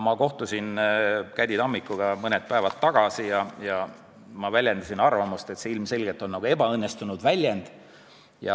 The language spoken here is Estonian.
Ma kohtusin Käddi Tammikuga mõni päev tagasi ja ma väljendasin arvamust, et see on ebaõnnestunud väljend.